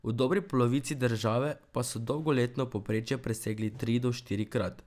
V dobri polovici države pa so dolgoletno povprečje presegli tri do štirikrat.